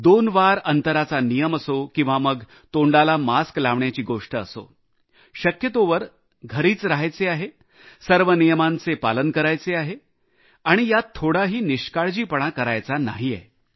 सहा फुटाच्या अंतराचा नियम असो किंवा मग तोंडाला मास्क लावण्याची गोष्ट असो शक्यतोवर घरीच रहा या सर्व नियमांचे पालन करा आणि यात थोडाही निष्काळजीपणा करू नका